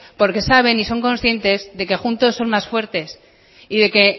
porque saben y son conscientes de que juntos son más fuertes y de que